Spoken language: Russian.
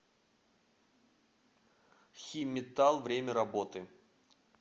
химметалл время работы